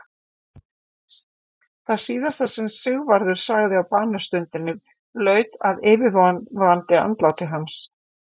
Það síðasta sem Sigvarður sagði á banastundinni laut að yfirvofandi andláti hans.